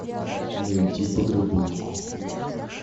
найти подработку